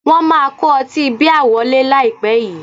Wọ́n máa kó ọtí bíà wọlé láìpẹ́ yìí